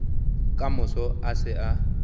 ka moso a se a